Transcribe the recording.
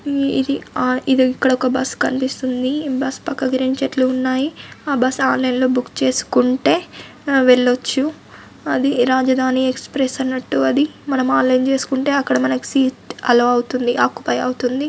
ఈ ఇది ఆ ఇది ఇక్కడ ఒక బస్సు కనిపిస్తుంది బస్సు పక్కకు రెండు చెట్లు ఉన్నాయి ఆ బస్సు ఆన్లైన్ లో బుక్ చేసుకుంటే అ వెళ్లొచ్చు. అది రాజధాని ఎక్స్ప్రెస్ అన్నట్టు అది మనం ఆన్లైన్ చేసుకుంటే అక్కడ మనకి సీట్ అలౌ అవుతుంది ఆక్యుపై అవుతుంది.